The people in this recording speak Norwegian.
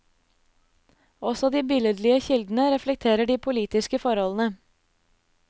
Også de billedlige kildene reflekterer de politiske forholdene.